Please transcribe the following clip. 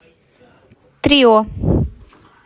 трио